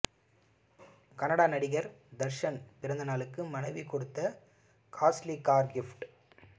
கன்னட நடிகர் தர்ஷன் பிறந்தநாளுக்கு மனைவி கொடுத்த காஸ்ட்லி கார் கிப்ட்